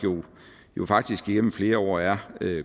jo faktisk igennem flere år er